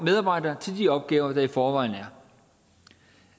medarbejdere til de opgaver der i forvejen er